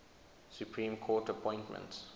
supreme court appointments